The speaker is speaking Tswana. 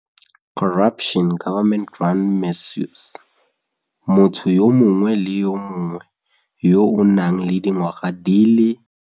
Motho yo mongwe le yo mongwe yo a nang le dingwaga di le.